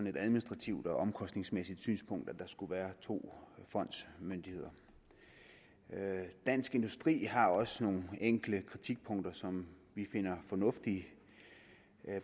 et administrativt og omkostningsmæssigt synspunkt at der skal være to fondsmyndigheder dansk industri har også nogle enkelte kritikpunkter som vi finder fornuftige